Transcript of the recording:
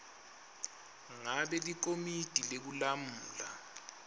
ngabe likomiti lekulamula